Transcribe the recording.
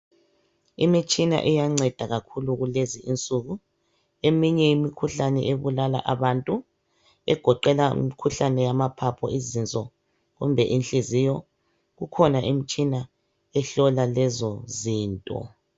Imitshina iyanceda kakhulu kulezi insuku eminye imikhuhlane ebulala abantu egoqela imikhuhlane yamaphaphu, izinso kumbe inhliziyo, kukhona imtshina ehlola lezo zinto.